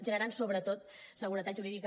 generant sobretot seguretat jurídica